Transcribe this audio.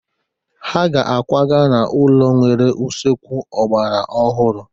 Ha ga-akwaga n'ụlọ nwere usekwu ọgbara ọhụrụ.